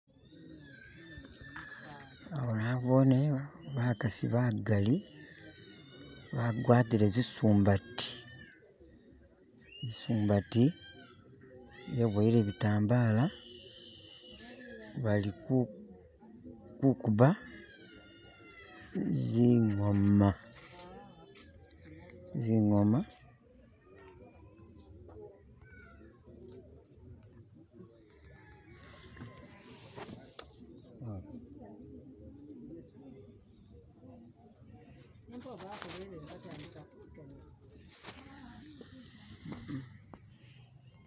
Ano nobone bakasi bagali bagwatile zisumbati, zisumbati biboyele bitambala balikukuba zingoma, zingoma..